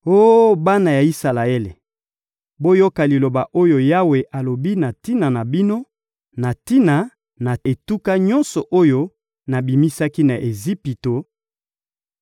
Oh bana ya Isalaele, boyoka liloba oyo Yawe alobi na tina na bino, na tina na etuka nyonso oyo nabimisaki na Ejipito: